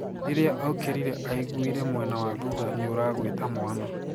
Riria aukirire aiguire mwena wa thutha niuraguita mwana.